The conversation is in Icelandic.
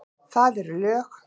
Það eru lög!